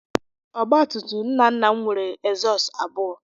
Ọgbatumtum nna nna m nwere egzọọst abụọ.